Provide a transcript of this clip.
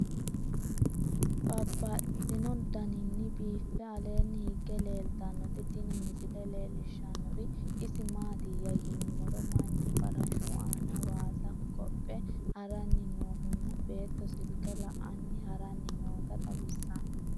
Babaxxittinno daninni biiffe aleenni hige leelittannotti tinni misile lelishshanori isi maattiya yinummoro manchu farashshu aanna waassa hogophphe haranni noohu nna beettu silike la'anni haraanni nootta xawissanno